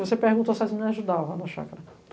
Você perguntou se as meninas ajudava na chácara.